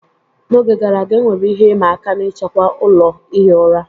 N'oge gara aga, enwere ihe ịma aka n'ichekwa ụlọ ihi ụra.